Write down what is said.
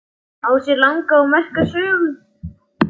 Á sér langa og merka sögu.